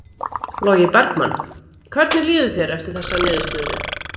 Logi Bergmann: Hvernig líður þér eftir þessa niðurstöðu?